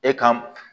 E kan